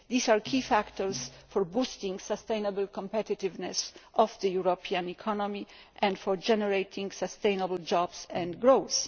These are key factors for boosting the sustainable competitiveness of the European economy and for generating sustainable jobs and growth.